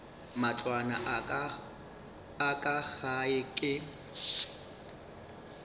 matlwana a ka gae ke